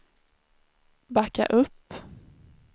backa upp